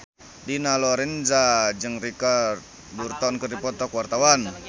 Dina Lorenza jeung Richard Burton keur dipoto ku wartawan